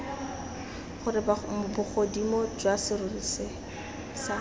gore bogodimo jwa serori sa